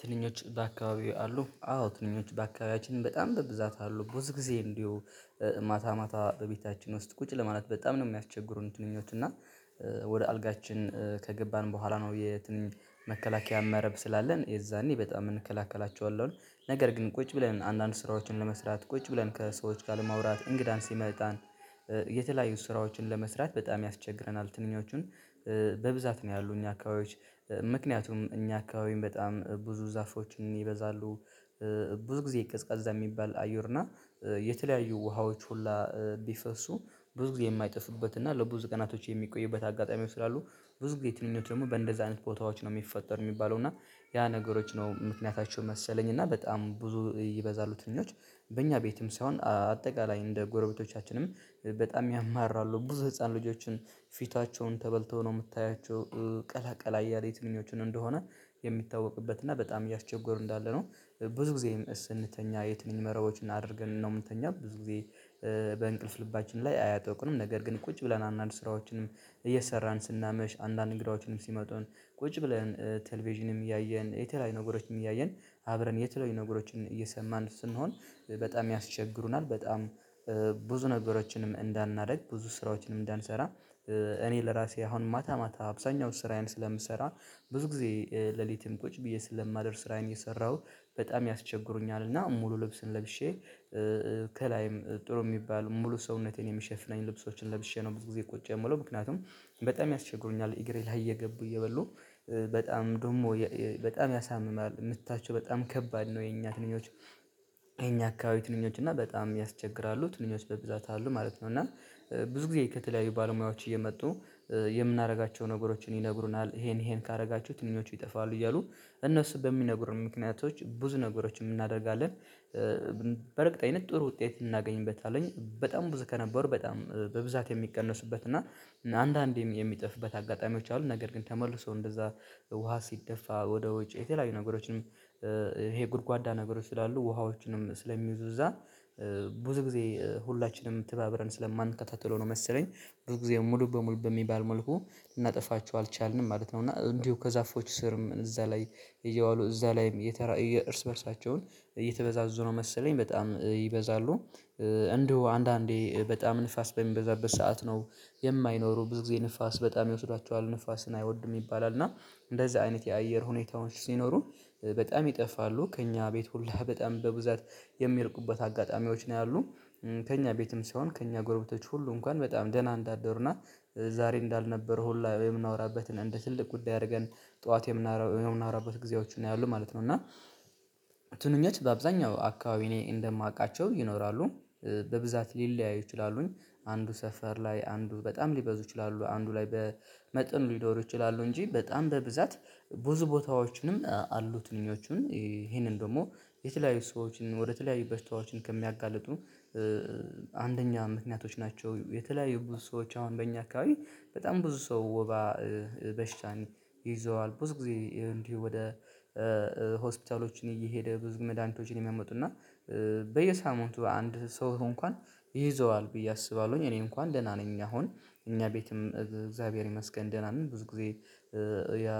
ትንኞች በአካባቢው አሉ አዎ ትንኞች በአካባቢያችን በጣም በብዛት አሉ ብዙ ጊዜ እንዲሁ ማታ ማታ በቤታችን ውስጥ ቁጭ ለማለት በጣም ነው የሚያስቸግሩን። ትንኞች እና ወደ አልጋችን ከገባን በኋላ ነው የትንኝ መከላከያ መረብ ስላለን የዛኔ በጣም እንከላከላቸዋለን። ነገር ግን ቁጭ ብለን አንዳንድ ስራዎችን ለመስራት ቁጭ ብለን ከሰዎች ጋር ለማውራት እንግዳን ሲመጣን የተለያዩ ስራዎችን ለመስራት በጣም ያስቸግረናል። ትንኞቹን በብዛት ነው ያሉ እኛ አካባቢዎች ምክንያቱም እኛ አካባቢም በጣም ብዙ ዛፎችም ይበዛሉ። ብዙ ጊዜ የቀዝቃዛ የሚባል አየርና የተለያዩ ውሃዎች ሁላ ቢፈሱ ብዙ ጊዜ የማይጠፉበት እና ለብዙ ቀናቶች የሚቆዩበት አጋጣሚዎች ስላሉ። ብዙ ጊዜ ትንኞች ደግሞ በእንደዛ አይነት ቦታዎች ነው የሚፈጠሩ የሚባለው እና ያ ነገሮች ነው ምክንያታቸው መሰለኝ እና በጣም ብዙ ይበዛሉ ትንኞች። በእኛ ቤትም ሳይሆን አጠቃላይ እንደ ጎረቤቶቻችንም በጣም ያማራሉ ብዙ ህፃን ልጆችን ፊታቸውን ተበልተው ነው የምታያቸው ቀላቀላ አያለ የትንኞቹን እንደሆነ የሚታወቅበት እና በጣም እያስቸገሩ እንዳለ ነው። ብዙ ጊዜ ስንተኛ የትንኝ መረቦችን አድርገን ነው የምንተኛ ብዙ ጊዜ። በእንቅልፍ ልባችን ላይ አያጠቁንም ነገር ግን ቁጭ ብለን አንዳንድ ስራዎችን እየሰራን ስናመሽ አንዳንድ እንግዳዎችንም ሲመጡን ቁጭ ብለን ቴሌቪዥንም እያየን የተለያዩ ነገሮችንም እያየን አብረን የተለያዩ ነገሮችን እየሰማን ስንሆን በጣም ያስቸግሩናል። በጣም ብዙ ነገሮችንም እንዳናደርግ ብዙ ስራዎችንም እንዳንሰራ። እኔ ለራሴ አሁን ማታ ማታ አብዛኛው ስራዬን ስለምሰራ ብዙ ጊዜ ሌሊትም ቁጭ ብዬ ስለማደር ስራዬን የሰራሁ በጣም ያስቸግሩኛል። እና ሙሉ ልብስን ለብሼ ከላይም ጥሩ የሚባል ሙሉ ሰውነቴን የሚሸፍነኝ ልብሶችን ለብሼ ነው ብዙ ጊዜ ቁጭ የምለው ምክንያቱም በጣም ያስቸግሩኛል። እግሬ ላይ እየገቡ እየበሉ በጣም ደሞ በጣም ያሳምማሉ ምታቸው በጣም ከባድ ነው። የኛ ትንኞች የኛ አካባቢ ትንኞች እና በጣም ያስቸግራሉ ትንኞች በብዛት አሉ ማለት ነው። እና ብዙ ጊዜ ከተለያዩ ባለሙያዎች እየመጡ የምናረጋቸው ነገሮችን ይነግሩናል ይሄን ይሄን ካረጋችሁ ትንኞቹ ይጠፋሉ እያሉ እነሱ በሚነግሩን ምክንያቶች ብዙ ነገሮችንም እናደርጋለን። በእርግጠኝነት ጥሩ ውጤት እናገኝበታለን በጣም ብዙ ከነበሩ በጣም በብዛት የሚቀነሱበት እና አንዳንዴ የሚጥፍበት አጋጣሚዎች አሉ። ነገር ግን ተመልሶ እንደዛ ውሃ ሲደፋ ወደ ውጭ የተለያዩ ነገሮችንም ይሄ ጉድጓዳ ነገሮች ስላሉ ውሃዎችንም ስለሚይዙ እዛ ብዙ ጊዜ ሁላችንም ትባብረን ስለማንከታተለው ነው መሰለኝ። ብዙ ጊዜ ሙሉ በሙሉ በሚባል መልኩ ልናጠፋቸው አልቻልንም ማለት ነው። እና እንዲሁ ከዛፎቹ ስርም እዛ ላይ እየዋሉ እዛ ላይም የተራ የእርስ በእርሳቸውን እየተበዛዙ ነው መሰለኝ በጣም ይበዛሉ። እንደው አንዳንዴ በጣም ንፋስ በሚበዛበት ሰዓት ነው የማይኖሩ ብዙ ጊዜ ንፋስ በጣም ይወስዷቸዋል ንፋስን አይወዱም ይባላል። እና እንደዚህ አይነት የአየር ሁኔታዎች ሲኖሩ በጣም ይጠፋሉ ከእኛ ቤት ሁላ በጣም በብዛት የሚርቁበት አጋጣሚዎች ነው ያሉ። ከእኛ ቤትም ሲሆን ከእኛ ጎረቤቶች ሁሉ እንኳን በጣም ደህና እንዳደሩና ዛሬ እንዳልነበረ ሁላ የምናወራበትን እንደ ትልቅ ጉዳይ አርገን ጠዋት የምናወራበት ጊዜዎቹ ነው ያሉን ማለት ነው። እና ትንኞች በአብዛኛው አካባቢ እኔ እንደማቃቸው ይኖራሉ። በብዛት ሊለያይ ይችላሉኝ አንዱ ሰፈር ላይ አንዱ በጣም ሊበዙ ይችላሉ አንዱ ላይ በመጠኑ ሊኖሩ ይችላሉ። እንጂ በጣም በብዛት ብዙ ቦታዎችንም አሉ ትንኞቹን ይሄንን ደግሞ የተለያዩ ሰዎችን ወደ ተለያዩ በሽታዎችን ከሚያጋልጡ አንደኛ ምክንያቶች ናቸው። የተለያዩ ብዙ ሰዎች አሁን በእኛ አካባቢ በጣም ብዙ ሰው ወባ በሽታን ይዘዋል ብዙ ጊዜ እንዲሁ ወደ ሆስፒታሎችን እየሄደ ብዙ መድሃኒቶችን የሚያመጡና በየሳምንቱ አንድ ሰው እንኳን ይይዘዋል ብዬ አስባለሁኝ። እኔ እንኳን ደህና ነኝ አሁን እኛ ቤትም እግዚአብሔር ይመስገን ደህና ነኝ። ብዙ ጊዜ ያ